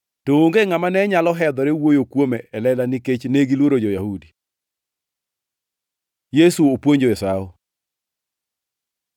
To onge ngʼama ne nyalo hedhore wuoyo kuome e lela nikech negiluoro jo-Yahudi. Yesu opuonjo e Sawo